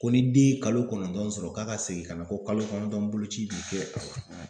Ko ni den ye kalo kɔnɔntɔn sɔrɔ, k'a ka segin ka na kalo kɔnɔntɔn boloci bi kɛ.